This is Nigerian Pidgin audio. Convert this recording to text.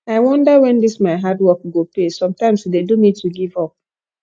i wonder wen dis my hard work go pay sometimes e dey do me to give up